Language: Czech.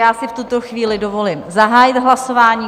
Já si v tuto chvíli dovolím zahájit hlasování.